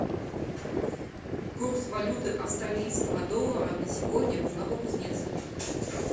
курс валюты австралийского доллара на сегодня в новокузнецке